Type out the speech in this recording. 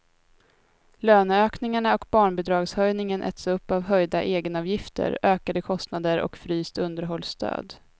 Löneökningarna och barnbidragshöjningen äts upp av höjda egenavgifter, ökade kostnader och fryst underhållsstöd.